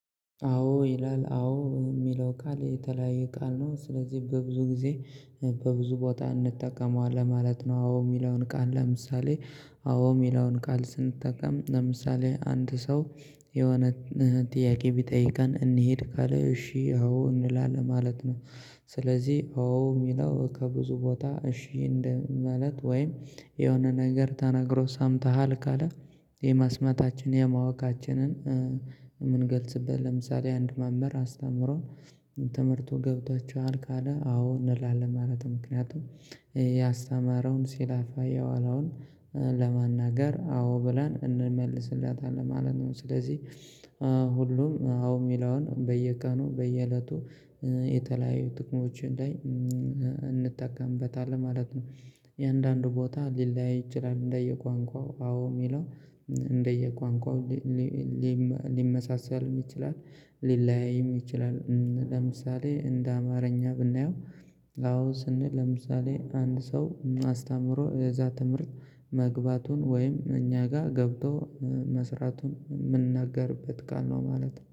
አዎ ይላል አዎ የሚለው ቃል የተለያየ ቃል ነው ስለዚህ በብዙ ጊዜ በብዙ ቦታ እንጠቀመዋለን ማለት ነው። አዎ የሚለውን ቃል ለምሳሌ አዎ የሚለውን ቃል ስንጠቀም ለምሳሌ አንድ ሰው የሆነ ጥያቄ ቢጠይቀን እንሂድ ካለ እሺ አዎ እንላለን ማለት ነው። ስለዚህ አዎ የሚለው ከብዙ ቦታ እሺ እንደ ማለት ወይም የሆነ ነገር ተናግሮ ሳምተሃል ካለ የመስማታችን የማወቃችንን የምንገልጽበት ለምሳሌ አንድ መምህር አስተምሮን ትምርቱ ገብቷቹሃል ካለ አዎ እንላለን ማለት ነው። ምክንያቱም ያስተማረውን ሲላፋ የዋለውን ለመናገር አዎ ብላን እንመልስለታለን ማለት ነው። ስለዚህ ሁሉም አዎ ሚላውን በየቀኑ በየእለቱ የተለያዩ ጥቅሞች ላይ እንጠቀምበታለን ማለት ነው። እያንዳንዱ ቦታ ሊለያይ ይችላል። እንደየ ቋንቋው አዎ የሚለው እንደየ ቋንቋው ሊመሳሰልም ይችላል። ሊለያይም ይችላል። ለምሳሌ እንደ አማርኛ ብናየው ኣዎ ስንል ለምሳሌ አንድ ሰው አስተምሮ እዛ ትምህርት መግባቱን ወይም እኛ ጋር ገብቶ መስራቱን የምንነገርበት ቃል ነው ማለት ነው